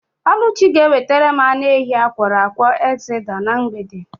Ọlụchi ga-ewetara m anụ ehi akwọrọ akwọ ekzeta na mgbede.